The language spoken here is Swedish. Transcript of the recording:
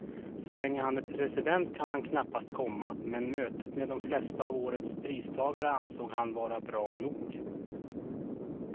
Så länge han är president kan han knappast komma, men mötet med de flesta av årets pristagare ansåg han vara bra nog.